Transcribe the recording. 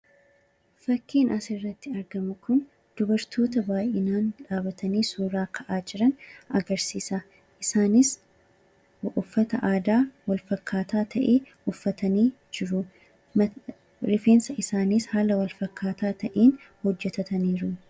Fakkiiin asirratti argamu kun dubartoota baay'atanii dhaabbatanii suuraa ka'aa jiran agarsiisa. Isaanis uffata aadaa wal fakkaataa ta'e uffatanii jiru; rifeensa isaaniis haala wal fakkaataa ta'een hojjetataniiru.